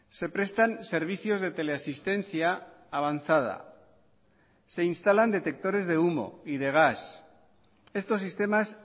se prestan servicios de teleasistencia avanzada se instalan detectores de humo y de gas estos sistemas